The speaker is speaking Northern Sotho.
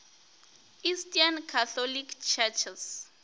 eastern catholic churches